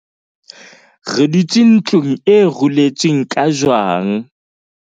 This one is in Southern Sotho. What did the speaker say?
re dutse ntlong e ruletsweng ka jwang